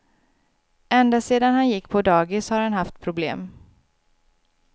Ända sedan han gick på dagis har han haft problem.